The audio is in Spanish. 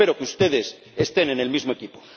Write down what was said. espero que ustedes estén en el mismo equipo.